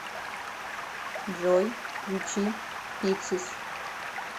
джой включи пиксис